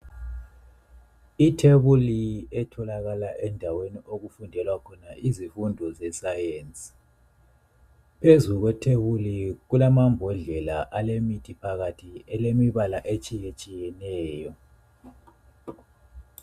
Ithebuli etholakala endaweni okufundelwa khona izifundo zesayensi. Phezu kwethebuli kulamambodlela alemithi phakathi elemibala etshiyetshiyeneyo.